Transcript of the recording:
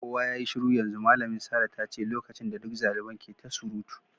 Kowa yayi shiru yanzu! Malamin Sarah ta ce lokacin da duk xaliban ke ta surutu.